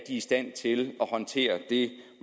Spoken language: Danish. i stand til at håndtere det